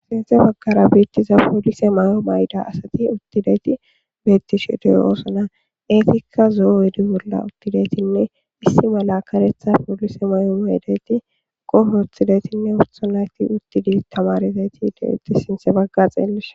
sinthe baggara biittiza poolise may7o mayda asati uttideti beettishe dey oosna eetikka zoowedi bolla uttidetinne issi mala karetha poolise may7o maydeti qoh oththidetinne utha nayti uttidi tamarezayti deudi sinthe bagga xeelis